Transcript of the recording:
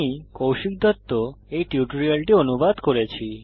আমি কৌশিক দত্ত এই টিউটোরিয়ালটি অনুবাদ করেছি